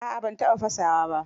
A'a ban taɓa fasawa ba.